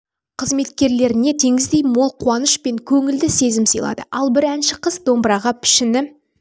мен қызметкерлеріне теңіздей мол қуаныш пен көнілді сезім сыйлады ал бір әнші қыз домбыраға пішіні